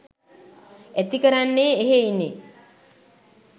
ඇතිකරන්නේ එහෙයිනි.